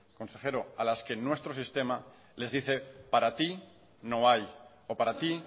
a las que nuestro sistema les dice para ti no hay o para ti